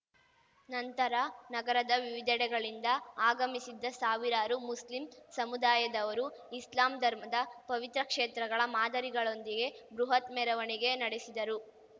ನಂತರ ನಗರದ ವಿವಿಧೆಡೆಗಳಿಂದ ಆಗಮಿಸಿದ್ದ ಸಾವಿರಾರು ಮುಸ್ಲಿಂ ಸಮುದಾಯದವರು ಇಸ್ಲಾಂ ಧರ್ಮದ ಪವಿತ್ರ ಕ್ಷೇತ್ರಗಳ ಮಾದರಿಗಳೊಂದಿಗೆ ಬೃಹತ್‌ ಮೆರವಣಿಗೆ ನಡೆಸಿದರು